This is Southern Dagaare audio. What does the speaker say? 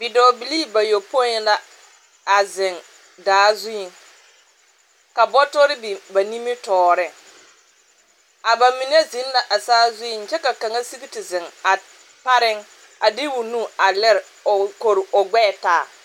Dɔɔbilii bayɔpõĩ la, a zeŋ daa zuiŋ. Ka bɔtɔre biŋ ba nimitɔɔreŋ. A ba mine zeŋ la a saa zuiŋ kyɛ ka kaŋa sigi te zeŋ a, pareŋ a de o nu a lere o kori o gbɛɛ taa.